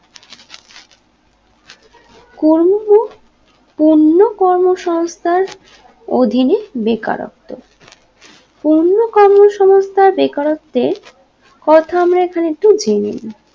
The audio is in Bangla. কর্ম পূর্ণ কর্মসমস্থার অধীনে বেকারত্ব পূর্ণ কর্মসমস্থা বেকারত্বে প্রথমে এখানে একটু জেনে নেই